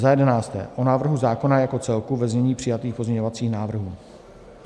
Za jedenácté o návrhu zákona jako celku ve znění přijatých pozměňovacích návrhů."